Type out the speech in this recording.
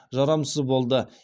жарамсыз болды